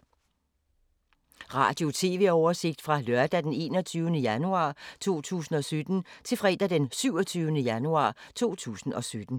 Radio/TV oversigt fra lørdag d. 21. januar 2017 til fredag d. 27. januar 2017